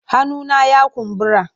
Hannuna ya kumbura.